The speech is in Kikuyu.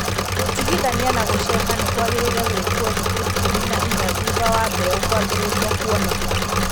Gũtigithania na gũceha nĩ kwagĩrĩire gwĩkwo thikũ ikũmi na inya thutha wa mbeũ kwambĩrĩria kuoneka.